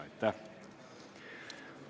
Aitäh!